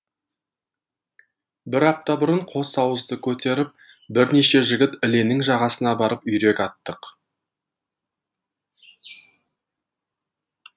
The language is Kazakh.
бір апта бұрын қос ауызды көтеріп бірнеше жігіт іленің жағасына барып үйрек аттық